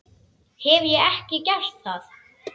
Hef ég ekki gert það?